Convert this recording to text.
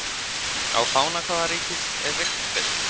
Á fána hvaða ríkis er riffill?